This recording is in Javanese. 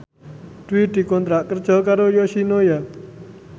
Dwi dikontrak kerja karo Yoshinoya